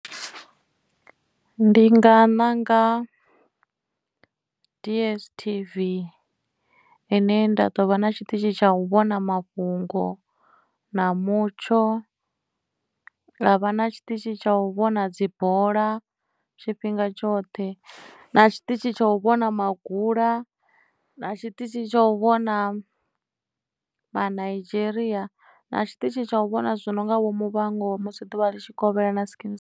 Ndi nga ṋanga DSTV ine nda ḓovha na tshiṱitshi tsha u vhona mafhungo na mutsho havha na tshiṱitshi tsha u vhona dzi bola tshifhinga tshoṱhe na tshiṱitshi tsha u vhona magula na tshiṱitshi tsha u vhona manaidzheria na tshiṱitshi tsha u vhona zwithu zwo no nga vho muvhango musi ḓuvha litshikovhela na skeem saam.